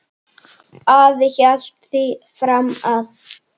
Afi hélt því fram að